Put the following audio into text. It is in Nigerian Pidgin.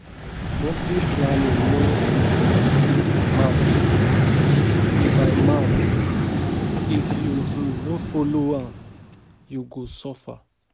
No go on dey party, NEPA bill go humble you.